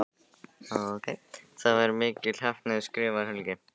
Það var mikil heppni skrifar Helgi.